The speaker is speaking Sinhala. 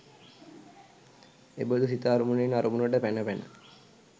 එබඳු සිත අරමුණෙන් අරමුණට පැන පැන